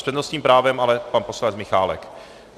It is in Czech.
S přednostním právem ale pan poslanec Michálek.